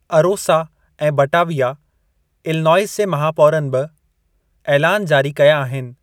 अरोसा ऐं Batavia, Illinois जे महापौरनि बि ऐलान जारी कया आहिनि।